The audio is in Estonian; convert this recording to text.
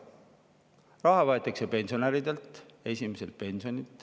Raha võetakse pensionäridelt, esimese pensionilt.